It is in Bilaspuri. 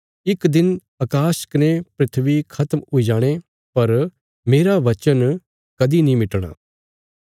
इक दिन अकाश कने धरती खत्म हुई जाणे पर मेरा बचन कदीं नीं मिटणा